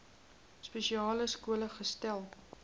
spesiale skole gesetel